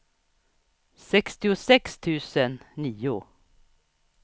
sextiosex tusen nio